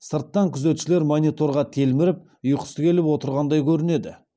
сырттан күзетшілер мониторға телміріп ұйқысы келіп отырғандай көрінеді